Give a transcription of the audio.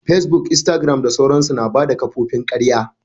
Facebook, instagram da sauransu. Na bada kofofin karya.